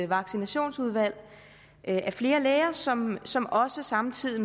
vaccinationsudvalg er flere læger som som også samtidig